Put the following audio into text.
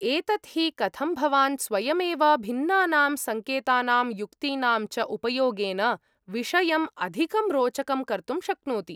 एतत् हि कथं भवान् स्वयमेव भिन्नानां संकेतानां युक्तीनां च उपयोगेन विषयम् अधिकं रोचकं कर्तुं शक्नोति।